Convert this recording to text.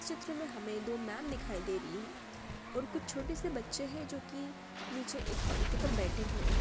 ''चित्र में हमें दो मैम दिखाई दे रही हैं और कुछ छोटे से बच्चे हैं जो की नीचे एक पंक्ति पर बैठे हुए हैं।''